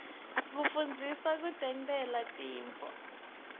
kufundza kutentela tintfo